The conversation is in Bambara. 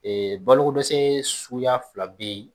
Ee balokodɛsɛ suguya fila bɛ yen